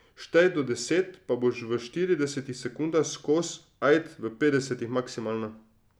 Štej do šestdeset, pa boš v štiridesetih sekundah skoz, ajd, v petdesetih maksimalno.